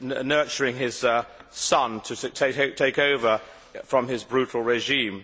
nurturing his son to take over from his brutal regime.